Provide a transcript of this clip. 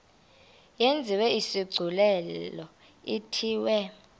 yenziwe isigculelo ithiwe